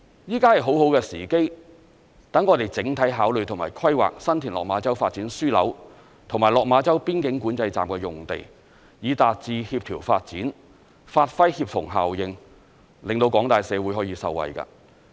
現在是很好的時機，讓我們整體考慮和規劃新田/落馬洲發展樞紐和落馬洲邊境管制站的用地，以達致協調發展，發揮協同效應，令廣大社會可以受惠。